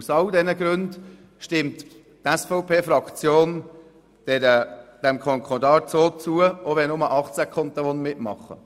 Aus all diesen Gründen stimmt die SVP-Fraktion diesem Konkordat so zu, auch wenn nur 18 Kantone mitmachen.